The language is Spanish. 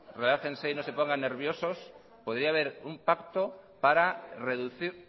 relájense y no se pongan nerviosos podría haber un pacto para reducir